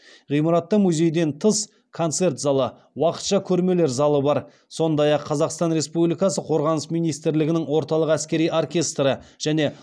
ғимаратта музейден тыс концерт залы уақытша көрмелер залы бар сондай ақ қазақстан республикасы қорғаныс министрлігінің орталық әскери оркестрі және